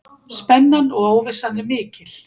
Spennan og óvissan er mikil.